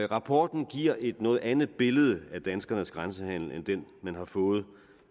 rapporten giver et noget andet billede af danskernes grænsehandel end det man har fået